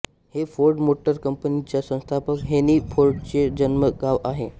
हे Ford motor कंपनीच्या संस्थापक हेन्री फोर्डचे जन्मगाव आहे